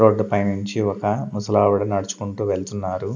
Road నుంచి ఒక ముసలవిడ నడుచుకుంటూ వెళ్తున్నారు.